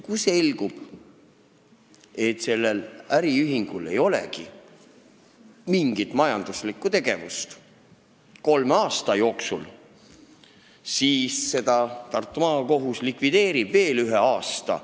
Kui selgub, et sellel äriühingul ei ole kolme aasta jooksul mingit majanduslikku tegevust, siis likvideerib Tartu Maakohus seda veel ühe aasta.